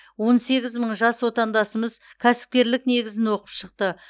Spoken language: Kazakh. он сегіз мың жас отандасымыз кәсіпкерлік негізін оқып шықты